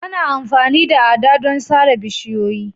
Ana amfani da ada don sare bishiyoyi